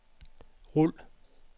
rul